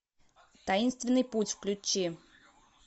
таинственный путь включи